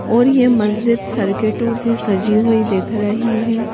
और यह मस्जिद सर्किटों से सजी हुई दिख रही है।